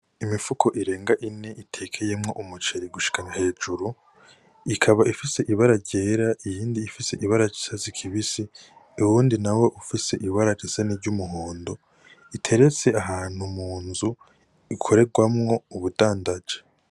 Imifuko irengana ine itekeyemwo umuceri gushikana hejuru ikaba ifise ibara ryera iyindi ry'icatsi kibisi uyo wundi nawo ufise ibara risa niry'umuhondo iteretse ahantu mu nzu ikoregwamwo ubudandaji.